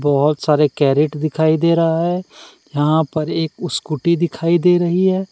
बहोत सारे कैरेट दिखाई दे रहा है यहां पर एक स्कूटी दिखाई दे रही है।